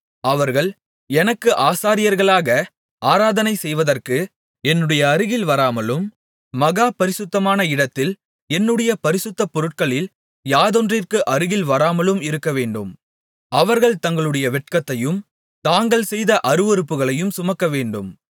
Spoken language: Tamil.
அவர்கள் எனக்கு ஆசாரியர்களாக ஆராதனை செய்வதற்கு என்னுடைய அருகில் வராமலும் மகா பரிசுத்தமான இடத்தில் என்னுடைய பரிசுத்த பொருட்களில் யாதொன்றிற்கு அருகில் வராமலும் இருக்கவேண்டும் அவர்கள் தங்களுடைய வெட்கத்தையும் தாங்கள் செய்த அருவருப்புகளையும் சுமக்கவேண்டும்